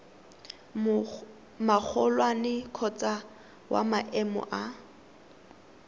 magolwane kgotsa wa maemo a